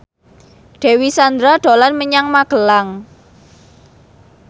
Dewi Sandra dolan menyang Magelang